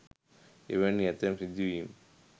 එවැනි ඇතැම් සිදුවීම්